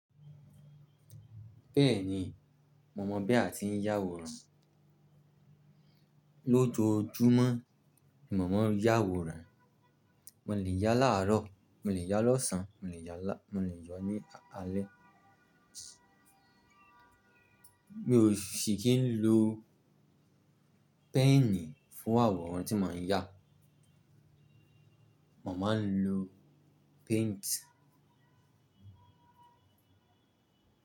Bẹ́ẹ̀ni, mo mọ̀ bí a ti ń yá àwòrán. Lójojúmọ́ ni mo màá ń yá àwòrán. Mo lè yá láàárọ̀, mo lè yá lọ́sàn-án, mo lè yá ní alẹ́. Mi ò ṣi kí ń lo pẹ́ẹ̀nì fún àwòrán tí mò ń yá. Mo máa ń lo paint.